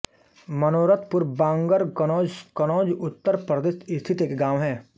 मनोरथपुर बांगर कन्नौज कन्नौज उत्तर प्रदेश स्थित एक गाँव है